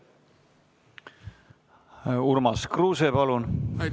Urmas Kruuse, palun!